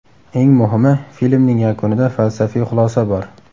Eng muhimi, filmning yakunida falsafiy xulosa bor.